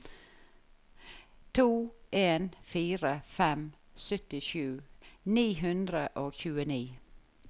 to en fire fem syttisju ni hundre og tjueni